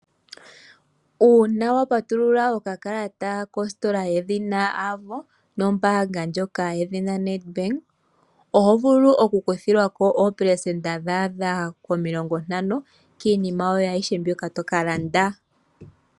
Uuna wa patulula okakalata kostola yedhina AVO nombaanga ndjoka yedhina NedBank oho vulu okukuthilwako opercenta dhaadha komilongontano kiinima yoye ayihe tokalanda.